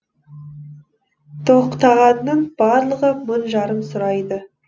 тоқтағанның барлығы мың жарым сұрайды